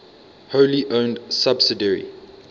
wholly owned subsidiary